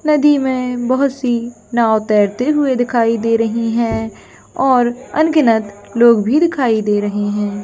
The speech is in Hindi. नदी में बहुत सी नाव तैरते हुई दिखाई दे रही हैऔर अनगिनत लोग भी दिखाई दे रहे हैं।